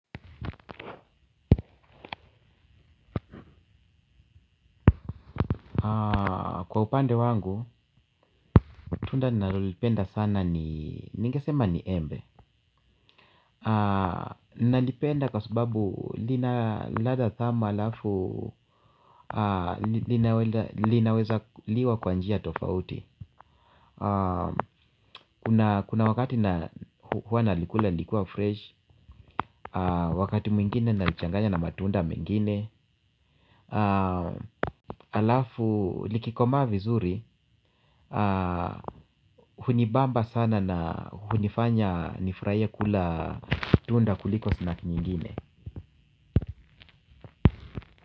Kwa upande wangu, tunda ninalolipenda sana ni, ningesema ni embe. Nalipenda kwa sababu lina ladha tamu alafu linaweza liwa kwa njia tofauti. Kuna wakati na huwa nalikula likiwa fresh, wakati mwingine nalichanganya na matunda mwingine. Alafu likikomaa vizuri hunibamba sana na hunifanya nifurahie kula tunda kuliko snack nyingine.